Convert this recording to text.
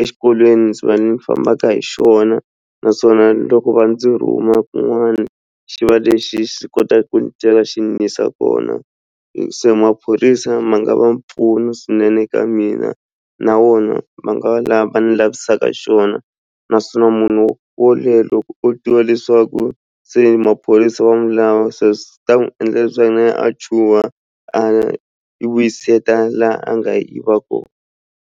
exikolweni ndzi va ndzi fambaka hi xona naswona loko va ndzi rhuma kun'wana xi va lexi xi kotaku ku ni xi ni yisa kona se maphorisa ma nga va mpfuno swinene ka mina na wona ma nga va lava ni lavisaka swona naswona munhu wo loko o tiva leswaku se maphorisa wa milawu se swi ta n'wi endla leswaku na yehe a chuha a yi vuyiseta laha a nga yiva kona.